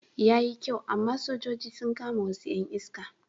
Yayi kyau amma sojoji sun kama wasu 'yan iska.